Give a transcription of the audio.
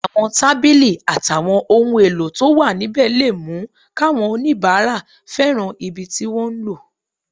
Àwọn tábìlì àtàwọn ohun èlò tó wà níbẹ̀ lè mú káwọn oníbàárà fẹ́ràn ibi tí wọ́n ń lò